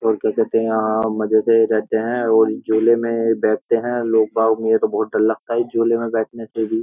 और देख सकते हैं यहाँ मजे से रहते हैं और झूले में बैठते हैं लोग बाग मुझे तो बहोत डर लगता है झूले में बैठने से ही।